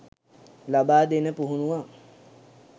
ලබා දෙන පුහුණුවක්.